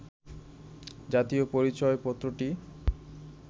জাতীয় পরিচয়পত্রটি